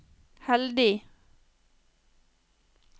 heldig